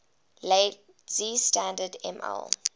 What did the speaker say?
lazy standard ml